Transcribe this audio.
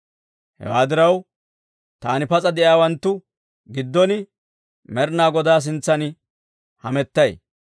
Hewaa diraw, taani, pas'a de'iyaawanttu giddon, Med'inaa Godaa sintsan hamettay.